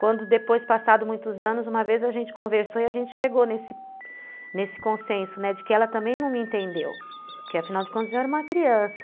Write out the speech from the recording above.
Quando depois, passados muitos anos, uma vez a gente conversou e a gente chegou nesse, nesse consenso de que ela também não me entendeu, porque afinal de contas eu era uma criança.